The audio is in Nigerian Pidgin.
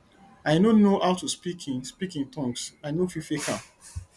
i no know how to speak in speak in tongues i no fit fake am